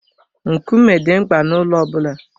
Nkume dị mkpa n'ụlọ ọ bụla.